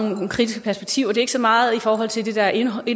nogle kritiske perspektiver det er ikke så meget i forhold til det der er indholdet i